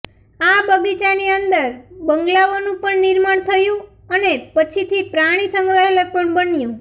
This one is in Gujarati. આ બગીચાની અંદર બંગલોનું પણ નિર્માણ થયું અને પછીથી પ્રાણી સંગ્રહાલય પણ બન્યું